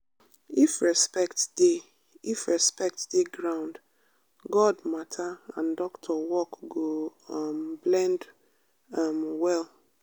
if respect dey if respect dey ground god matter and doctor work go um blend um well.